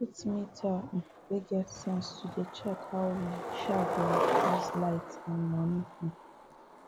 we put meter um way get sense to dey check how we um dey use light and money um